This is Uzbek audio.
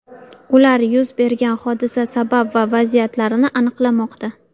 Ular yuz bergan hodisa sabab va vaziyatlarini aniqlamoqda.